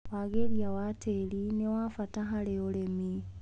Wagĩria wa tĩri nĩwabata harĩ ũrĩmi.